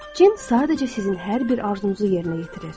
Cin sadəcə sizin hər bir arzunuzu yerinə yetirir.